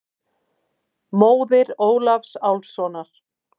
Móðir Ólafs Álfssonar.